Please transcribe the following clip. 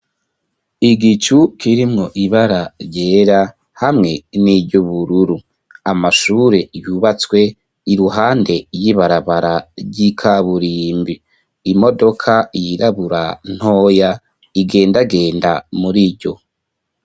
Igicu kirimwo ibara ryera hamwe niry'ubururu. Amashure yubatswe iruhande y'ibarabara ry'ikaburimbi. Imodoka yirabura ntoya igendagenda muriryo.